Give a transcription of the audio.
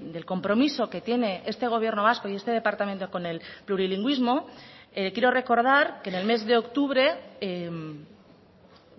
del compromiso que tiene este gobierno vasco y este departamento con el plurilingüismo quiero recordar que en el mes de octubre